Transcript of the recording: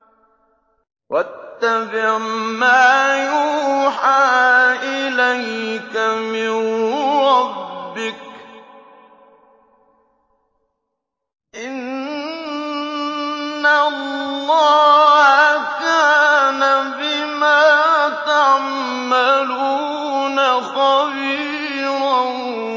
وَاتَّبِعْ مَا يُوحَىٰ إِلَيْكَ مِن رَّبِّكَ ۚ إِنَّ اللَّهَ كَانَ بِمَا تَعْمَلُونَ خَبِيرًا